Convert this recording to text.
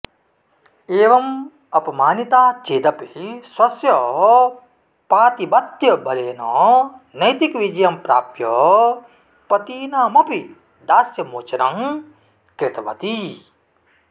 एवं अपमानिता चेदपि स्वस्य पातिबत्यबलेन नैतिकविजयं प्राप्य पतीनामपि दास्यमोचनं कृतवती